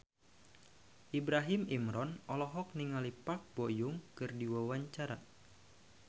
Ibrahim Imran olohok ningali Park Bo Yung keur diwawancara